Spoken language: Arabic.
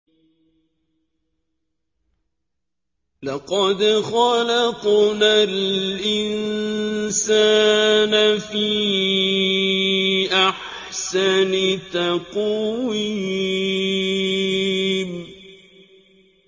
لَقَدْ خَلَقْنَا الْإِنسَانَ فِي أَحْسَنِ تَقْوِيمٍ